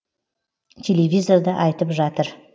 телевизорда айтып жатыр